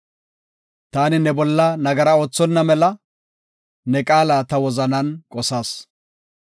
Taani ne bolla nagara oothonna mela ne qaala ta wozanan qosas.